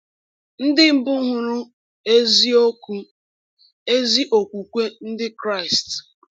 Ndị mbụ hụrụ “eziokwu”—ezi okwukwe Ndị Kraịst.